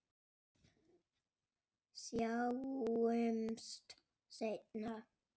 Sjáumst seinna.